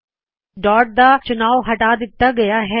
ਇਸ ਸਥਿਤਿ ਵਿੱਚ ਡਾੱਟ ਦਾ ਚੁਣਾਵ ਹਟਾ ਦਿੱਤਾ ਗਇਆ ਹੈ